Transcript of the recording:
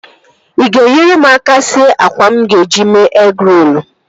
Ị ga-enyere m aka sie àkwá mụ ga-eji mee egịrolu?